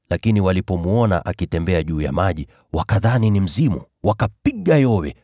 lakini walipomwona akitembea juu ya maji, wakadhani ni mzimu. Wakapiga yowe,